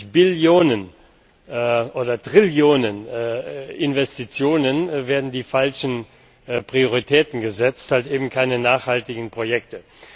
70 Billionen oder Trillionen Investitionen werden die falschen Prioritäten gesetzt, halt eben keine nachhaltigen Projekte.